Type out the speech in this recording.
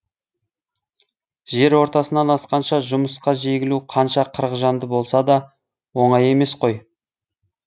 жер ортасынан асқанша жұмысқа жегілу қанша қырық жанды болса да оңай емес қой